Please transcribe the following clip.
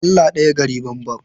Allah ɗaya gari banban.